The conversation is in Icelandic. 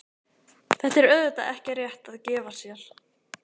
Þetta er auðvitað ekki rétt að gefa sér.